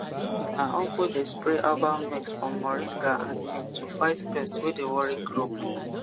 my uncle dey spray herbal mix from moringa and neem to fight pest wey dey worry crop